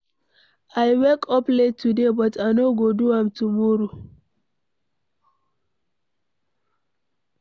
I wake up late today, but I no go do am tomorrow.